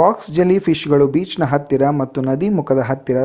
box jellyfish ಗಳು ಬೀಚ್ನ ಹತ್ತಿರ ಮತ್ತು ನದಿ ಮುಖದ ಹತ್ತಿರ